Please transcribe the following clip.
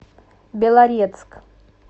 белорецк